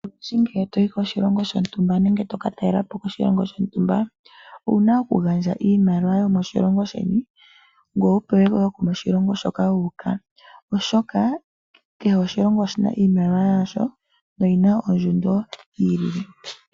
Olundji ngele toyi koshilongo shontumba nenge tokatalelapo koshilongo shontumba owuna okugandja iimaliwa yomoshilongo sheni gweye wu pewe woo yomoshilongo moka wuuka, oshoka kehe oshilongo oshina iimaliwa yaasho no yina ondjundo yiili.